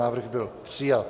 Návrh byl přijat.